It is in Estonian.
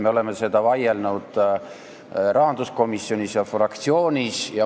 Me oleme selle üle vaielnud rahanduskomisjonis ja fraktsioonis.